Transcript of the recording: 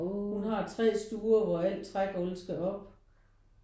Hun har 3 stuer hvor al trægulvet skal op